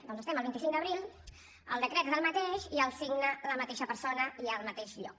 doncs estem a vint cinc d’abril el decret és el mateix i el signa la mateixa persona i al mateix lloc